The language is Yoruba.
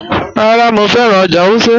Rárá, Mọ fẹ́ran ọ́jà̀ Wùsẹ́.